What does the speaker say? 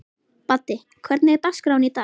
Baddi, hvernig er dagskráin í dag?